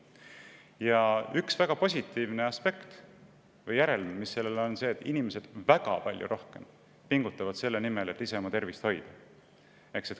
Ja üks väga positiivne aspekt või järelm selle puhul on see, et inimesed pingutavad palju rohkem, et oma tervist hoida.